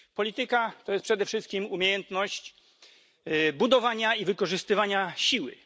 Polityka to jest przede wszystkim umiejętność budowania i wykorzystywania siły.